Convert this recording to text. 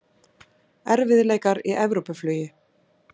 Erfiðleikar í Evrópuflugi